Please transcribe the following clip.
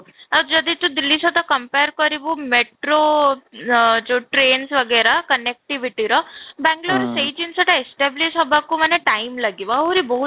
ଆଉ ଯଦି ତୁ ଦିଲ୍ଲୀ ସହିତ compare କରିବୁ metro ଆଃ ଯଉ trains connectivity ର ବାଙ୍ଗଲୁରର ସେଇ ଜିନିଷଟା establish ହେବାକୁ ମାନେ time ଲାଗିବ ଆହୁରି ବହୁତ